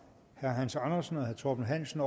hans andersen og herre torben hansen